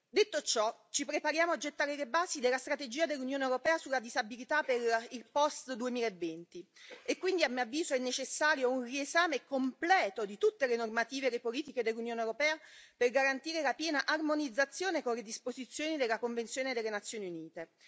Detto ciò, ci prepariamo a gettare le basi della strategia dell'Unione europea sulla disabilità per il post 2020 e quindi, a mio avviso, è necessario un riesame completo di tutte le normative e le politiche dell'Unione europea per garantire la piena armonizzazione con le disposizioni della Convenzione delle Nazioni Unite.